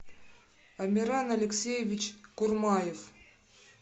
амиран алексеевич курмаев